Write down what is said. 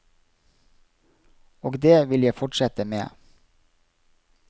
Og det vil jeg fortsette med.